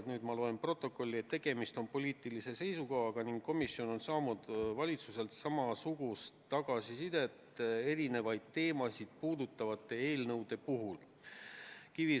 Nüüd ma loen protokolli: "Tegemist on poliitilise seisukohaga ning komisjon on saanud valitsuselt samasugust tagasisidet erinevaid teemasid puudutavate eelnõude puhul.